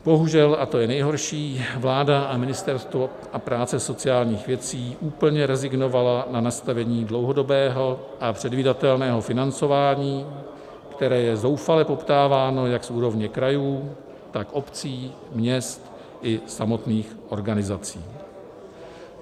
Bohužel, a to je nejhorší, vláda a Ministerstvo práce a sociálních věcí úplně rezignovaly na nastavení dlouhodobého a předvídatelného financování, které je zoufale poptáváno jak z úrovně krajů, tak obcí, měst i samotných organizací.